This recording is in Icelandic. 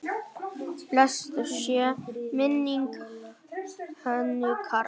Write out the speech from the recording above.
Blessuð sé minning Hönnu Karls.